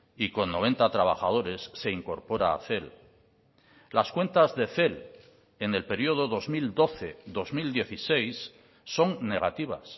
y con noventa trabajadores se incorpora a cel las cuentas de cel en el periodo dos mil doce dos mil dieciséis son negativas